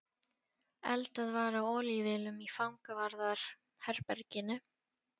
Eldað var á olíuvélum í fangavarðar- herberginu.